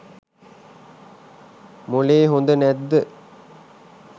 මොළේ හොඳ නැද්ද.